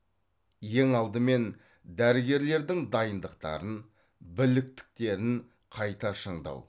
ең алдымен дәрігерлердің дайындықтарын біліктіктерін қайта шыңдау